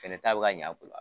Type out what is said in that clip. Fana taa bɛ ka ɲɛ a bolo